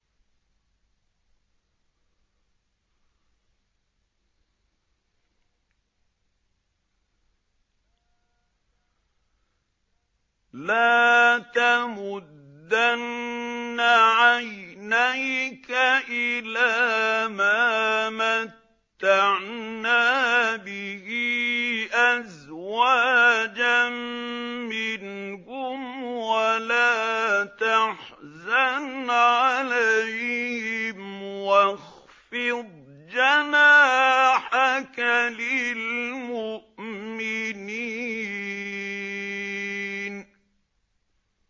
لَا تَمُدَّنَّ عَيْنَيْكَ إِلَىٰ مَا مَتَّعْنَا بِهِ أَزْوَاجًا مِّنْهُمْ وَلَا تَحْزَنْ عَلَيْهِمْ وَاخْفِضْ جَنَاحَكَ لِلْمُؤْمِنِينَ